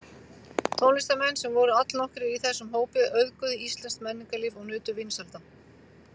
Tónlistarmenn, sem voru allnokkrir í þessum hópi, auðguðu íslenskt menningarlíf og nutu vinsælda.